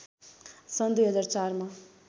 सन् २००४ मा